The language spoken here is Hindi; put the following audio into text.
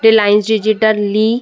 डिलायंस डिजिटल ली --